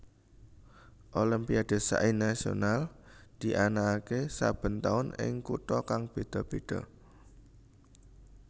Olimpiade Sains Nasional dianakake saben taun ing kutha kang beda beda